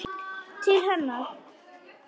Til hennar.